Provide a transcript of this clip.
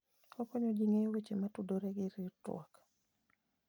Okonyo ji ng'eyo weche motudore gi ritruok.